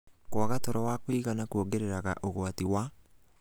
Kwaga toro wa kũigana kuongereraga ũgwati wa